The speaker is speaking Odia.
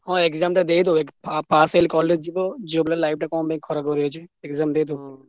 ହଁ exam ଟା ଦେଇ ଦଉ ପା~ pass ହେଲେ college ଯିବ ଝିଅ ତଅ life ଟା କଣ ପାଇଁ ଖରାପ ହେଇଯିବ exam ଦେଇଦଉ।